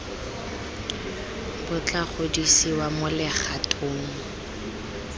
bo tla godisiwa mo legatong